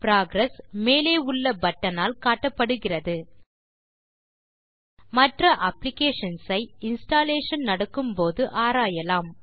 progress மேலேயுள்ள button ஆல் காட்டப்படுகிறது மற்ற அப்ளிகேஷன்ஸ் ஐ இன்ஸ்டாலேஷன் நடக்கும் போது ஆராயலாம்